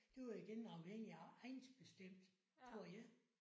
Det var igen afhængigt af egnsbestemt tror jeg